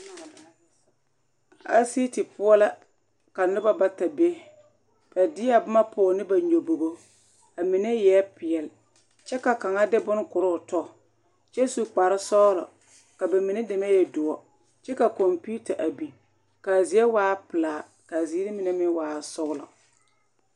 Asiiti poɔ la ka noba bata be ba deɛ boma pɔge ne ba nyɔbogo a mine eɛ peɛle kyɛ ka kaŋa de bone korɔ o tɔ kyɛ su kparesɔglɔ ka ba mine deme e doɔ kyɛ ka kɔmpeta a biŋ k,a zie waa pelaa k,a ziiri mine meŋ waa sɔglɔ.